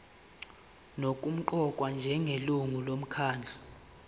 nokuqokwa njengelungu lomkhandlu